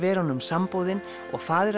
samboðin og faðir